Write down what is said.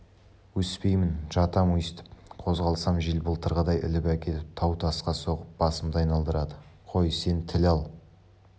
өспеймін жатам өстіп қозғалсам жел былтырғыдай іліп әкетіп тау-тасқа соғып басымды айналдырады қой сен тіл ал